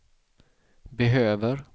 behöver